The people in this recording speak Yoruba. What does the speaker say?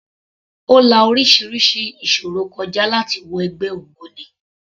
Ó la orísirísi ìṣòro kọ já láti wọ ẹgbẹ́ ògbóni.